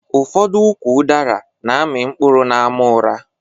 Ụfọdụ ụkwụ udara na amị mkpụrụ n'àmà ura